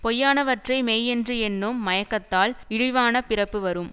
பொய்யானவற்றை மெய் என்று எண்ணும் மயக்கத்தால் இழிவான பிறப்பு வரும்